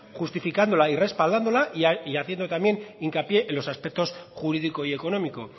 justificándola y respaldándola y haciendo también hincapié en los aspectos jurídico y económico